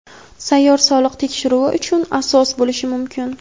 sayyor soliq tekshiruvi uchun asos bo‘lishi mumkin.